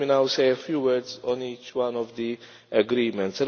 Let me now say a few words on each one of the agreements.